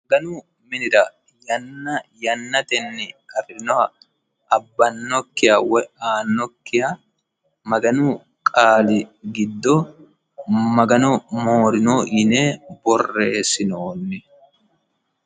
Maganu minirra Yana yanatteni afi'noha abanokkiha woyi aanokiha maganu qaali giddo magano moorinoho yine borresinonni